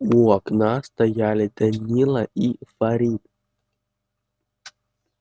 у окна стояли данила и фарид